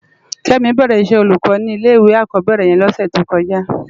Kemi bèrè iṣè ólúkò ni ilé iwé ákòbèrè yèn lòsè tókòjá